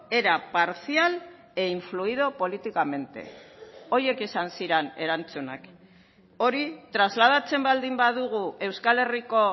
era parcial e influido políticamente horiek izan ziren erantzunak hori trasladatzen baldin badugu euskal herriko